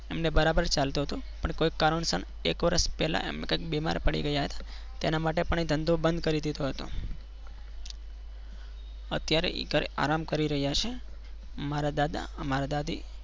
એમને બરાબર ચાલતું હતું પણ કોઈ કારણસર થોડા વર્ષ પહેલાં એમ કહી બીમાર પડી ગયા હતા. તેના માટે પણ એ ધંધો બંધ કરી દીધો હતો. અત્યારે એ ઘરે આરામ કરી રહ્યા છે. મારા દાદા મારા દાદી.